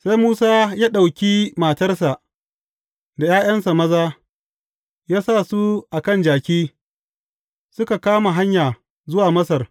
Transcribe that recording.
Sai Musa ya ɗauki matarsa da ’ya’yansa maza, ya sa su a kan jaki, suka kama hanya zuwa Masar.